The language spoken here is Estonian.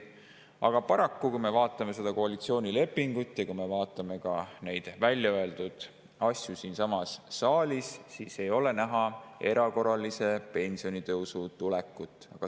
Aga paraku, kui me vaatame koalitsioonilepingut ja kui me oleme kuulanud siinsamas saalis väljaöeldud asju, siis on selge, et ei ole näha erakorralise pensionitõusu tulekut.